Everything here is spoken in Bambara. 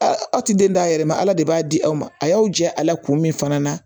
Ala aw tɛ den d'a yɛrɛ ma ala de b'a di aw ma a y'aw jɛ a la kun min fana na